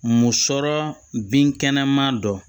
Mun sɔrɔ binkɛnɛma don